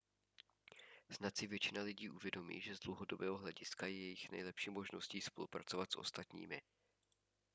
snad si většina lidí uvědomí že z dlouhodobého hlediska je jejich nejlepší možností spolupracovat s ostatními